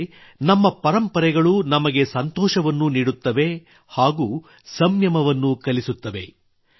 ಅಂದರೆ ನಮ್ಮ ಪರಂಪರೆಗಳು ನಮಗೆ ಸಂತೋಷವನ್ನೂ ನೀಡುತ್ತವೆ ಹಾಗೂ ಸಂಯಮವನ್ನೂ ಕಲಿಸುತ್ತವೆ